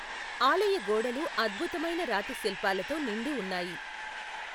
ఆలయ గోడలు అద్భుతమైన రాతి శిల్పాలతో నిండి ఉన్నాయి.